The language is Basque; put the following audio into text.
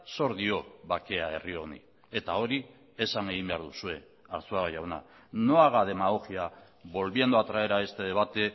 zor dio bakea herri honi eta hori esan egin behar duzue arzuaga jauna no haga demagogia volviendo a traer a este debate